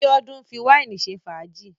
Bíọ́dún ń fi wàínì ṣe fàájì.